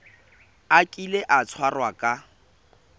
a kile a tshwarwa ka